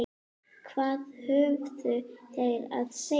Hvað höfðu þeir að segja?